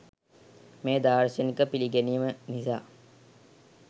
මේ දාර්ශනික පිළිගැනීම නිසා